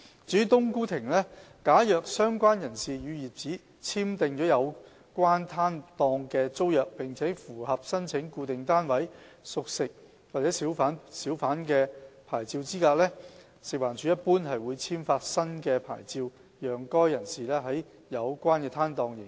至於"冬菇亭"，假如相關人士與業主簽訂了有關攤檔的租約並符合申請固定攤位小販牌照資格，食環署一般會簽發新的牌照給該人士在有關攤檔營業。